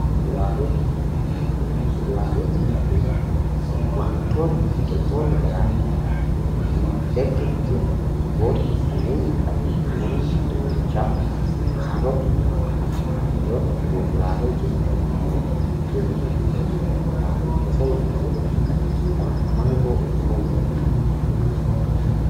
Kuduraaleefi muduraalee:Kuduraalee jechuun wantoota biqiltoota garaagaraa irraa argamanii erga bilcheeffamanii booda kanneen nyaataman kanneen akka dinnichaa, kaarotii fi kan kana fakkaatan yoo ta'u, muduraalee jechuun immoo biqiltoota irraa kan argaman ta'anii osoo hin bilcheeffamin kan nyaataman: maangoo, muuzii fi kan kana fakkaatan dha.